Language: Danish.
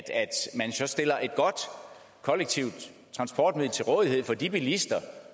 man så stiller et godt kollektivt transportmiddel til rådighed for de bilister